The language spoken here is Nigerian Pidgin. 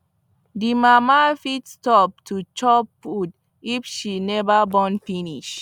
the mama fit stop to chop food if she never born finish